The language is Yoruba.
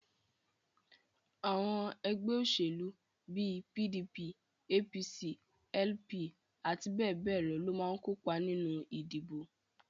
Àwọn ẹgbẹ́ òṣèlú bíi PDP, APC, LP àti bẹ́ẹ̀ bẹ́ẹ̀ lọ máa ń kópa nínú ìdìbò